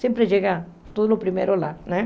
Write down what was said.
Sempre chega tudo primeiro lá né.